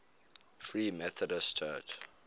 free methodist church